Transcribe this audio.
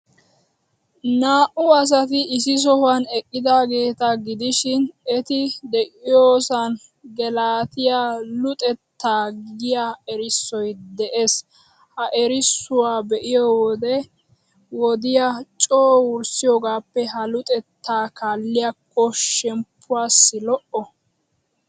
Naa''u asati issi sohuwan eqqidaageeta gidishin, eti de'iyoosan Gelatiyaa luxettaa giyaa erissoy de'ees. Ha erissuwaa be'iyo wode wodiyaa coo wurssiyogaappe ha luxettaa kaalliyakko shemppuwaassi lo'o.